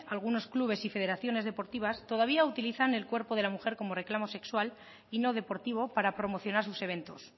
algunos clubes y federaciones deportivas todavía utilizan el cuerpo de la mujer como reclamo sexual y no deportivo para promocionar sus eventos